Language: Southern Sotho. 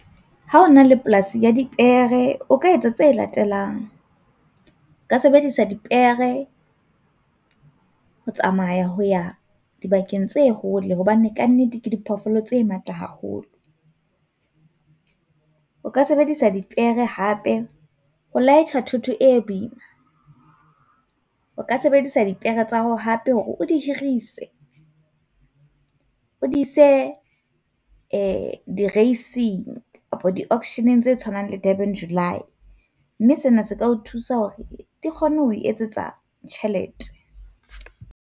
Ha ona le polasi ya dipere, o ka etsa tse latelang. O ka sebedisa dipere ho tsamaya ho ya dibakeng tse hole hobane kannete ke diphoofolo tse matla haholo. O ka sebedisa dipere hape ho laetjha thoto e boima, o ka sebedisa dipere tsa hao hape hore o di hirise. O di se di-racing kapa di-auction tse tshwanang le bo-Durban July, mme sena se ka o thusa hore di kgone ho o etsetsa tjhelete.